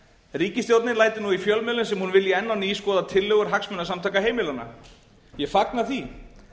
ríkisstjórnin lætur nú í fjölmiðlum sem hún vilji enn á ný skoða tillögur hagsmunasamtaka heimilanna ég fagna því